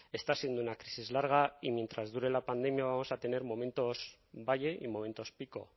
está siendo una crisis larga y mientras dure la pandemia vamos a tener momentos valle y momentos pico